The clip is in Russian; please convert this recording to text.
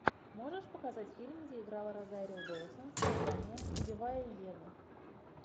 можешь показать фильм где играла розарио доусон с названием убивая еву